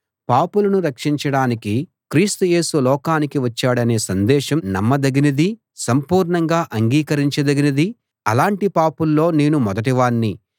పాపులను రక్షించడానికి క్రీస్తు యేసు లోకానికి వచ్చాడనే సందేశం నమ్మదగినదీ సంపూర్ణంగా అంగీకరించదగినదీ అలాంటి పాపుల్లో నేను మొదటి వాణ్ణి